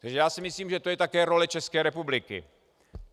Takže já si myslím, že je to také role České republiky.